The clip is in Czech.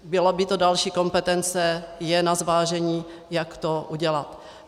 Byla by to další kompetence, je na zvážení, jak to udělat.